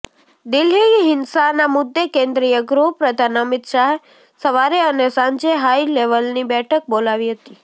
દિલ્હી હિંસાના મુદ્દે કેન્દ્રીય ગૃહપ્રધાન અમિત શાહે સવારે અને સાંજે હાઈ લેવલની બેઠક બોલાવી હતી